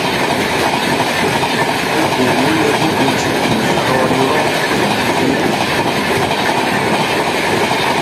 òkòòwò lè gbógun ti ìṣòro ìmọẹrọ ìró pẹlú ai